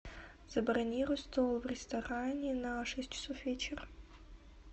забронируй стол в ресторане на шесть часов вечера